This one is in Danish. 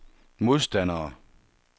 modstandere